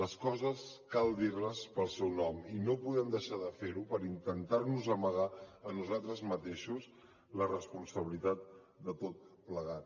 les coses cal dir les pel seu nom i no podem deixar de fer ho per intentar nos amagar a nosaltres mateixos la responsabilitat de tot plegat